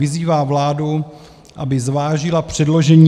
Vyzývá vládu, aby zvážila předložení